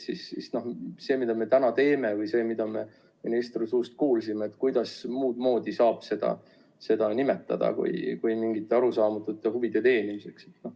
Kuidas saab muud moodi kui arusaamatute huvide teenimiseks nimetada seda, mida me täna teeme, või seda, mida me ministri suust kuulsime.